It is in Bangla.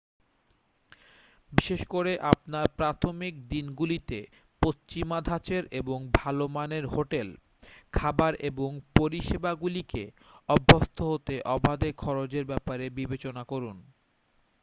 বিশেষ করে আপনার প্রাথমিক দিনগুলিতে পশ্চিমা ধাঁচের এবং ভালো মানের হোটেল খাবার এবং পরিষেবাগুলিকে অভ্যস্ত হতে অবাধে খরচের ব্যাপারে বিবেচনা করুন